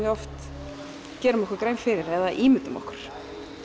við oft gerum okkur grein fyrir eða ímyndum okkur